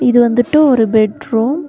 இது வந்துட்டு ஒரு பெட்ரூம் .